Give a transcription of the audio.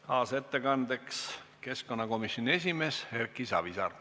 Kaasettekandjaks on keskkonnakomisjoni esimees Erki Savisaar.